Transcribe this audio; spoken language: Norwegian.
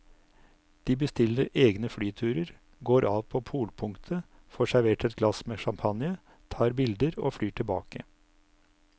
De bestiller egne flyturer, går av på polpunktet, får servert et glass med champagne, tar bilder og flyr tilbake.